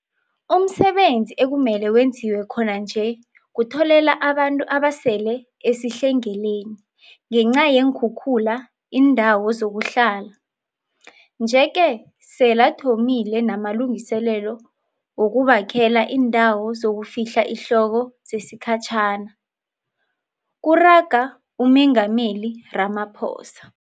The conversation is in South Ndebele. Umsebenzi ekumele wenziwe khona nje kutholela abantu abasele esihlengeleni ngenca yeenkhukhula iindawo zokuhlala, nje-ke selathomile namalungiselelo wokubakhela iindawo zokufihla ihloko zesikhatjhana, kuraga uMengameli Ramaphosa.